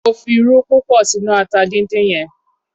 Mo fi irú púpọ̀ sí inú ata dindin yẹn.